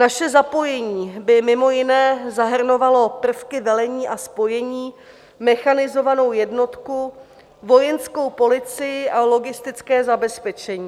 Naše zapojení by mimo jiné zahrnovalo prvky velení a spojení, mechanizovanou jednotku, vojenskou policii a logistické zabezpečení.